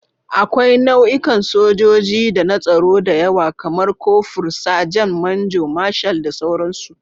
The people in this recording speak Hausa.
Akwai nau'ikan sojoji da na tsaro da yawa, kamar kofur, sajan, manjo, marshal, da sauransu.